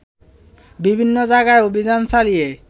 বিভিন্ন জায়গায় অভিযান চালিয়ে